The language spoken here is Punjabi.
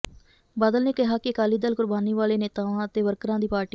ਬਾਦਲ ਨੇ ਕਿਹਾ ਕਿ ਅਕਾਲੀ ਦਲ ਕੁਰਬਾਨੀ ਵਾਲੇ ਨੇਤਾਵਾਂ ਅਤੇ ਵਰਕਰਾਂ ਦੀ ਪਾਰਟੀ ਹੈ